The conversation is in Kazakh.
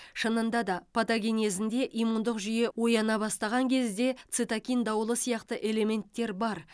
шынында да патогенезінде иммундық жүйе ояна бастаған кезде цитокин дауылы сияқты элементтер бар